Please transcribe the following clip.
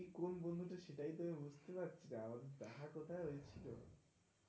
কোন বন্ধু তো সেটাই আমি বুঝতে পারছি না? আমাদের দেখা কোথায় হয়েছিল?